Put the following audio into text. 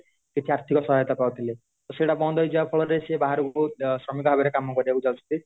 କିଛି ଆର୍ଥିକ ସହାୟତା ପାଉଥିଲେ ତ ସେଟା ବନ୍ଦ ହାଇଯିବା ଫଳରେ ସେ ବାହାରକୁ ଅ ଶ୍ରମିକ ଭାବରେ କାମ କରିବାକୁ ଯାଉଛନ୍ତି